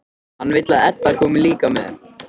Hann vill að Edda komi líka með.